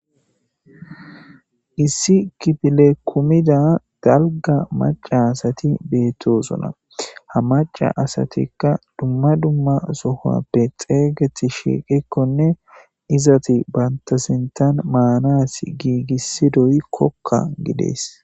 Issi kiffle kumidda dalgga maca assathi bethosonna. Ha maca assathikka dumma dumma sohappe xegethi shiqikkonne izzathi bantha sinthan maanass gigissidoy koka gidees.